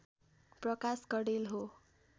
प्रकाश कँडेल हो